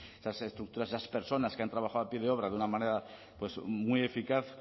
esas estructuras esas personas que han trabajado a pie de obra de una manera muy eficaz